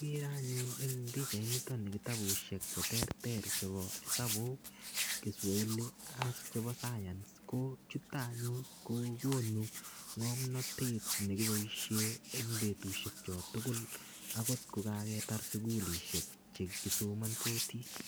Ikere anyun en pichainito kitabushek cheterter chebo esabu, kiswahili ak chebo science ko chuton anyun kokonu ngomnotet nekiboishen en betushek kyok tukul akot ko kaketar sukulishek chekisomonsotii.